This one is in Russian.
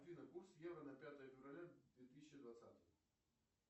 афина курс евро на пятое февраля две тысячи двадцатого